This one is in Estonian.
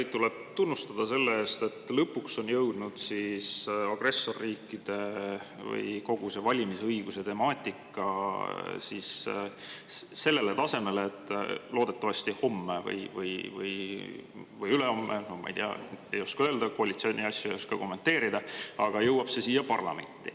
Teid tuleb tunnustada selle eest, et lõpuks on jõudnud agressorriikide või kogu see valimisõiguse temaatika sellele tasemele, et loodetavasti homme või ülehomme – ma ei tea, ei oska öelda, koalitsiooni asju ei oska kommenteerida – jõuab see siia parlamenti.